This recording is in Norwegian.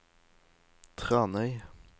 Tranøy